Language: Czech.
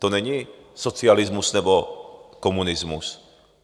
To není socialismus nebo komunismus.